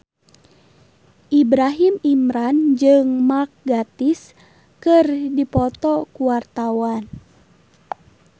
Ibrahim Imran jeung Mark Gatiss keur dipoto ku wartawan